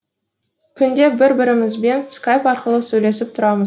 күнде бір бірімізбен скайп арқылы сөйлесіп тұрамыз